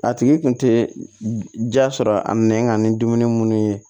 A tigi kun tɛ ja sɔrɔ a nɛn ka ni dumuni munnu ye